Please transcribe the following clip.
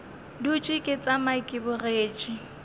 dutše ke tšama ke bogetše